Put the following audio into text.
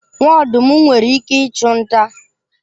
Nwa ọdụm nwere ike ịchụ nta.